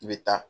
I bɛ taa